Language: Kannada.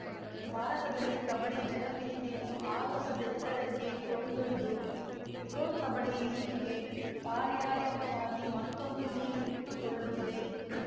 ಭಾರತದಲ್ಲಿ ಕಬಡ್ಡಿ ಜನಪ್ರಿಯತೆಯನ್ನು ಆಗಸದೆತ್ತರಕ್ಕೆ ಕೊಂಡೊಯ್ದ ಪ್ರೊ ಕಬಡ್ಡಿ ಲೀಗ್‌ಗೆ ಪಾರ್ಯಾಯಕವಾಗಿ ಮತ್ತೊಂದು ಲೀಗ್‌ ಹುಟ್ಟುಕೊಳ್ಳುತ್ತಿದೆ